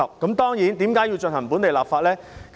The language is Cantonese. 其實，我們為何要進行本地立法呢？